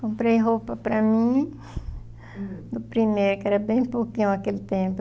Comprei roupa para mim, hm, do primeiro, que era bem pouquinho naquele tempo.